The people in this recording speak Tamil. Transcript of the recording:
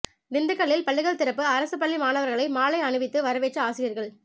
திண்டுக்கல்லில் பள்ளிகள் திறப்பு அரசு பள்ளி மாணவர்களை மாலை அணிவித்து வரவேற்ற ஆசிரியர்கள்